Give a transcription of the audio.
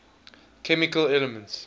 chemical elements